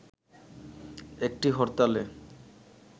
একটি হরতালে